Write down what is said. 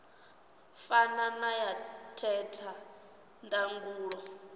fana na ya theta ndangulo